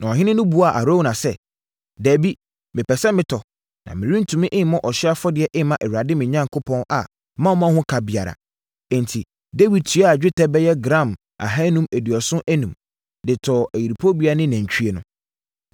Na ɔhene no buaa Arauna sɛ, “Dabi, mepɛ sɛ mɛtɔ, na merentumi mmɔ ɔhyeɛ afɔdeɛ mma Awurade, me Onyankopɔn, a mammɔ ho ka biara.” Enti, Dawid tuaa dwetɛ bɛyɛ gram ahanum aduɔson enum (575) de tɔɔ ayuporobea ne nantwie no.